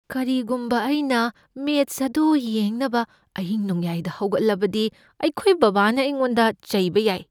ꯀꯔꯤꯒꯨꯝꯕ ꯑꯩꯅ ꯃꯦꯆ ꯑꯗꯨ ꯌꯦꯡꯅꯕ ꯑꯍꯤꯡꯅꯣꯡꯌꯥꯏꯗ ꯍꯧꯒꯠꯂꯕꯗꯤ ꯑꯩꯈꯣꯏ ꯕꯥꯕꯥꯅ ꯑꯩꯉꯣꯟꯗ ꯆꯩꯕ ꯌꯥꯏ꯫